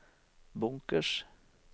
bunkers